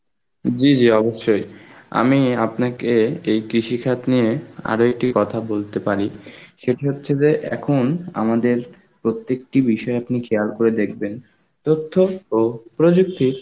জি জি অবশ্যই, আমি আপনাকে এই কৃষি খাত নিয়ে আরো একটি কথা বলতে পারি, সেটি হচ্ছে যে এখন আমাদের প্রত্যেকটি বিষয় আপনি খেয়াল করে দেখবেন, তথ্য ও প্রযুক্তির